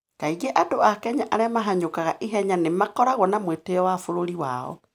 Kaingĩ andũ a Kenya arĩa mahanyũkaga ihenya nĩ makoragwo na mwĩtĩo wa bũrũri wao.